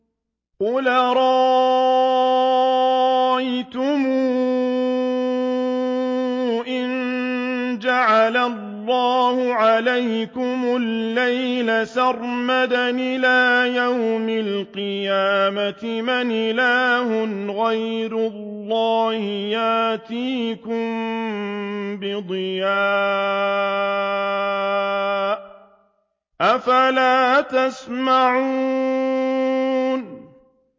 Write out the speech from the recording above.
قُلْ أَرَأَيْتُمْ إِن جَعَلَ اللَّهُ عَلَيْكُمُ اللَّيْلَ سَرْمَدًا إِلَىٰ يَوْمِ الْقِيَامَةِ مَنْ إِلَٰهٌ غَيْرُ اللَّهِ يَأْتِيكُم بِضِيَاءٍ ۖ أَفَلَا تَسْمَعُونَ